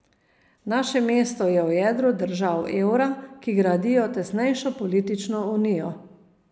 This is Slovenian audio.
Naše mesto je v jedru držav evra, ki gradijo tesnejšo politično unijo.